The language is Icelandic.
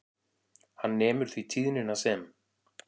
Hann nemur því tíðnina sem